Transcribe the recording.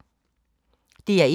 DR1